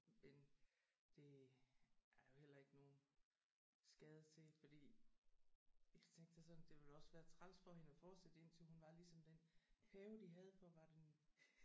Men det er jo heller ikke nogen skade til fordi jeg tænkte det sådan det ville også være træls for hende at forsætte indtil hun var ligesom den pave de havde hvor var det nu